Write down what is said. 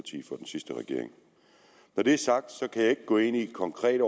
sidste regering når det er sagt kan jeg ikke gå ind i konkrete